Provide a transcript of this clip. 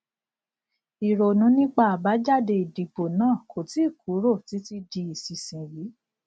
ìrònú nípa àbájáde ìdìbò náà kò tíì kúrò títí di ìsinsìnyí